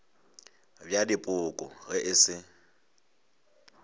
bja dipoko ge e se